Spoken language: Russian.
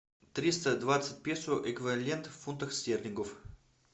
триста двадцать песо эквивалент в фунтах стерлингов